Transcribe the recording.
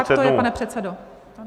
Tak to je, pane předsedo.